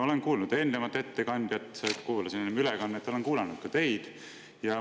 Olen kuulanud eelmist ettekandjat, kuulasin teda ülekande vahendusel, ja olen kuulanud ka teid.